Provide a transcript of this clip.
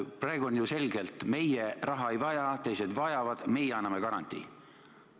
Praegu on ju selge, et meie raha ei vaja, teised vajavad, meie anname garantii.